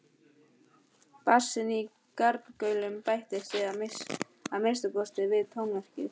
Bassinn í garnagaulinu bættist að minnsta kosti við tónverkið.